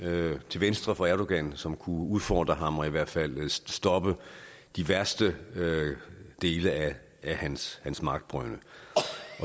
til venstre for erdogan som kunne udfordre ham og i hvert fald stoppe de værste dele af hans hans magtbrynde